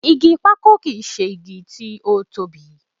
Igi pákò kì í ṣe igi tó tóbi